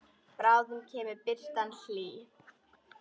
Bráðum kemur birtan hlý.